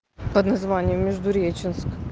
под названием междуреченск